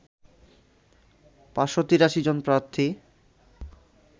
৫৮৩ জন প্রার্থী